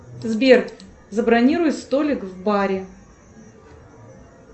сбер забронируй столик в баре